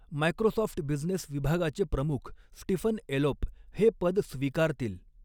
Microsoft business विभागाचे प्रमुख Stephen Elop हे पद स्वीकारतील.